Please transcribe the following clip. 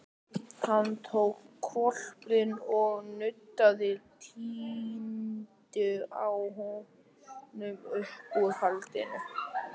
Hann tók hvolpinn og nuddaði trýninu á honum uppúr hlandinu.